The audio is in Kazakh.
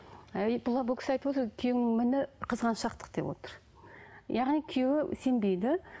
бұл кісі айтып отыр күйеуімнің міні қызғаншақтық деп отыр яғни күйеуі сенбейді